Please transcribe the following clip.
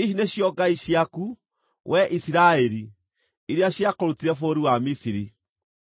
‘Ici nĩcio ngai ciaku, wee Isiraeli, iria ciakũrutire bũrũri wa Misiri.’ ”